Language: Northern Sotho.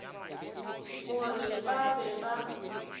go re ba be ba